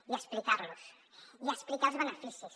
i explicar los i explicar ne els beneficis